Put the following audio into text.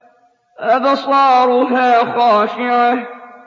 أَبْصَارُهَا خَاشِعَةٌ